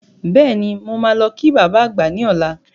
Bẹ́ẹ̀ni, mo máa lọ kí baba àgbà ní ọlá.